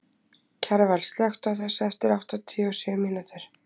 Kjarval, slökktu á þessu eftir áttatíu og sjö mínútur.